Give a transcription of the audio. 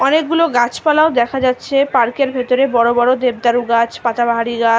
অনেকগুলো গাছপালাও দেখা যাচ্ছে পার্ক -এর ভেতরে বড় বড় দেবদারু গাছ পাতা বাহারি গাছ--